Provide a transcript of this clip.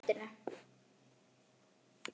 Kveiki á kertum.